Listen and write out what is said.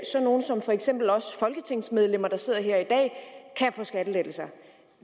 nogle som for eksempel os folketingsmedlemmer der sidder her i dag kan få skattelettelser